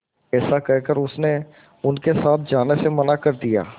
ऐसा कहकर उसने उनके साथ जाने से मना कर दिया